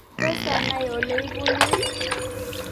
Tos anai oleipunu ii?